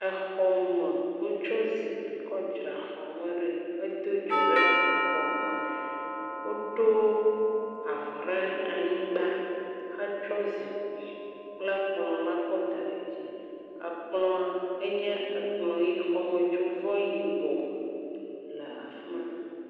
Exɔme. Wotsɔ zikpi kɔdzra xɔme ɖoe hedo dzo ɖe exɔme. Woɖo avɔ re anyigba hetsɔ zikpi kple kplɔ̃la kɔda ɖe dzie. Ekplɔ̃a enye ekplɔ̃ ʋii. Xɔmetsovɔ yibɔ le afi ma.